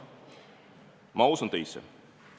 Ma usun teisse.